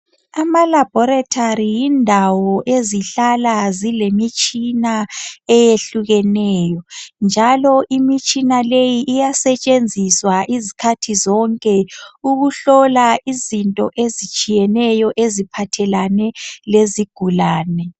Amalabhorethari yindawo ezihlala zilemitshina eyehlukeneyo njalo imitshina leyi iyasetshenziswa izikhathi zonke ukuhlola izinto ezitshiyeneyo eziphathelane lezigulane.